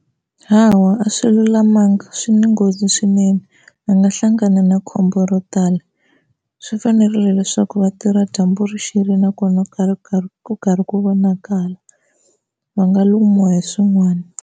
Hawa a swi lulamanga swi ni nghozi swinene va nga hlangana na khombo ro tala, swi fanerile leswaku va tirha dyambu ri xile nakona ku karhi ku vonakala va nga lumiwa hi swin'wana.